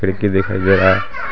खिड़की दिखाई दे रहा हैं.